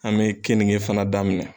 An bɛ keninke fana daminɛ.